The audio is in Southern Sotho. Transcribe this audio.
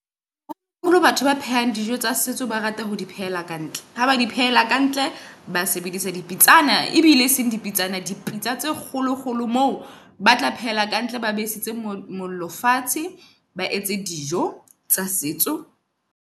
Haholo holo batho ba phehang dijo tsa setso, ba rata ho di phehela kantle. Ha ba di phehela ka ntle, ba sebedisa di pitsana ebile e seng di pitsana. Dipitsa tse kgolo kgolo moo, ba tla pheha ka ntle. Ba besetse mollo fatshe. Ba etse dijo tsa setso.